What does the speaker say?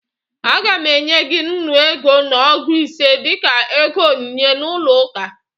Aga m enye gị nnu ego na ọgụ ise dịka ego onyinye n'ụlọ uka